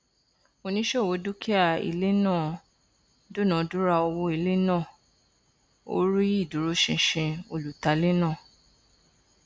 oníṣòwò dúkìá ilé náà dúnadúrà owó ilé náà ó rí ìdúróṣinṣin olùtalé náà